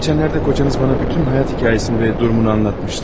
Geçenlerde kocanız bana bütün hayat hikayesini ve durumunu anlatmıştı.